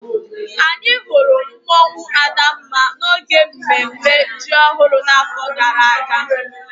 Anyị hụrụ mmụọnwu Adanma n'oge mmemme ji ọhụrụ n'afọ gara aga